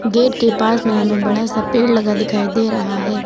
Gate के पास में हमें बड़ा सा पेड़ लगा दिखाई दे रहा है।